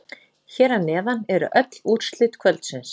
Hér að neðan eru öll úrslit kvöldsins.